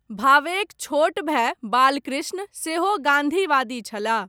भावेक छोट भाय बालकृष्ण, सेहो गाँधीवादी छलाह।